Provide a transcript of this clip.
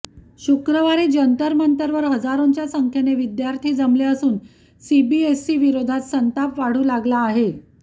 शुक्रवारी जंतरमंतरवर हजारोंच्या संख्येने विद्यार्थी जमले असून सीबीएसईविरोधात संताप वाढू लागला आहे